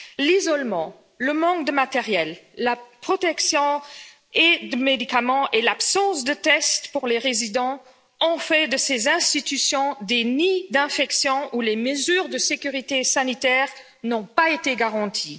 L'isolement, le manque de matériel, de protections et de médicaments ainsi que l'absence de tests pour les résidents ont fait de ces institutions des nids d'infection où les mesures de sécurité sanitaire n'ont pas été garanties.